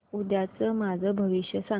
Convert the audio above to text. उद्याचं माझं भविष्य सांग